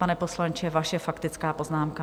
Pane poslanče, vaše faktická poznámka.